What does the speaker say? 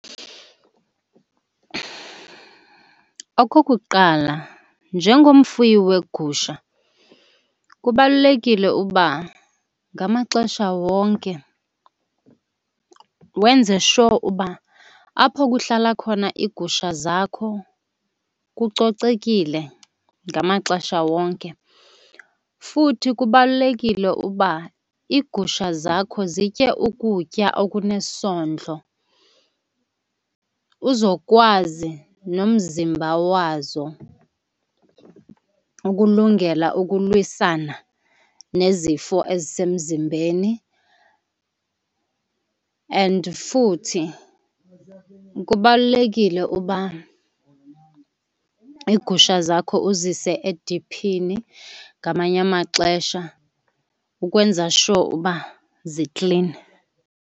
Okokuqala, njengomfuyi weegusha kubalulekile uba ngamaxesha wonke wenze sure uba apho kuhlala khona iigusha zakho kucocekile ngamaxesha wonke. Futhi kubalulekile uba iigusha zakho zitye ukutya okunesondlo uzokwazi nomzimba wazo ukulungela ukulwisana nezifo ezisemzimbeni. And futhi kubalulekile uba iigusha zakho uzise ediphini ngamanye amaxesha ukwenza sure uba ziklini.